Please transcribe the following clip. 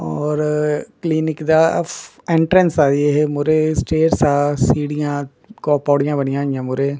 ਔਰ ਕਲੀਨਿਕ ਦਾ ਐਂਟਰੈਂਸ ਆ ਜੀ ਇਹ ਮੂਹਰੇ ਸਟੇਅਰਸ ਆ ਸੀੜੀਆਂ ਕੋ ਪੌੜੀਆਂ ਬਣੀਆਂ ਹੋਈਆਂ ਮੂਰੇ।